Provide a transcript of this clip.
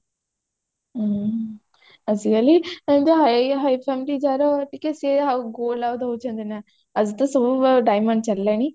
ହୁଁ ଆଜିକାଲି ଏମିତି ଆଉ high family ଯାହାର ଟିକେ ସେ ଆଉ gold ଆଉ ଦଉଛନ୍ତି ନା ଆଜି ତ ସବୁ ଆଉ diamond ଚାଲିଲାଣି